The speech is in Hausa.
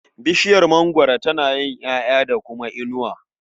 Bishiyar mangwaro tana yin ƴaƴa da kuma inuwa.